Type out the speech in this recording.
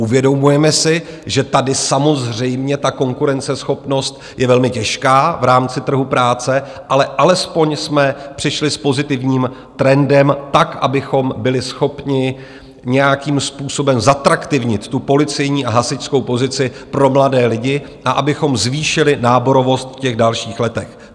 Uvědomujeme si, že tady samozřejmě ta konkurenceschopnost je velmi těžká v rámci trhu práce, ale alespoň jsme přišli s pozitivním trendem tak, abychom byli schopni nějakým způsobem zatraktivnit tu policejní a hasičskou pozici pro mladé lidi a abychom zvýšili náborovost v těch dalších letech.